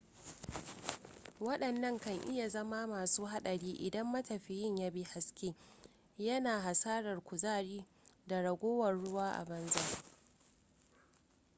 waɗannan kan iya zama masu haɗari idan matafiyin ya bi hasken yana hasarar kuzari da ragowar ruwa a banza